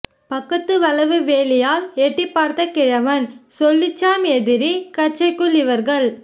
பக்கத்து வளவு வேலியால் எட்டிப்பார்த்த கிழவன் சொல்லிச்சாம் எதிரி கச்சைக் குள் இவர்கள்